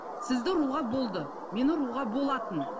сізді ұруға болды мені ұруға болатын